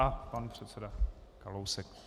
A pan předseda Kalousek.